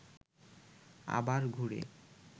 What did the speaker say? আবার ঘুরে